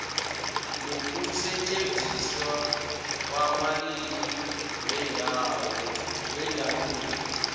nokusetjenziswa kwamalimi wendabuko